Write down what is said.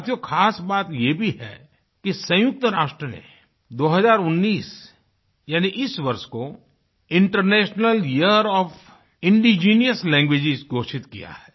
साथियो ख़ास बात ये भी है कि संयुक्त राष्ट्र ने 2019 यानी इस वर्ष को international year of indigenous language घोषित किया है